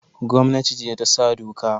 Gomnati ce ta sa doka